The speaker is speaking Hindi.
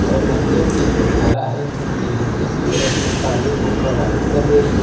और नदियों की जो धारा है ये नीचे की ओर अपनी पानी को प्रवाहित कर रही है।